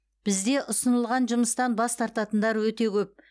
бізде ұсынылған жұмыстан бас тартатындар өте көп